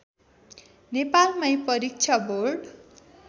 नेपालमै परीक्षा बोर्ड